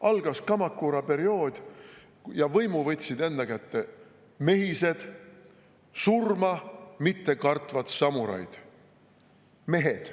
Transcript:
Algas Kamakura periood ja võimu võtsid enda kätte mehised, surma mittekartvad samuraid, mehed.